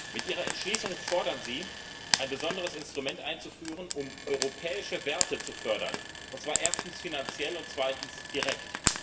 Mit ihrer Entschließung fordern Sie, ein besonderes Instrument einzuführen, um europäische Werte zu fördern, und zwar erstens finanziell und zweitens direkt.